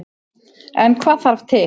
En hvað þarf til.